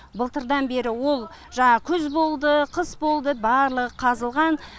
былтырдан бері ол жағы күз болды қыс болды барлығы қазылған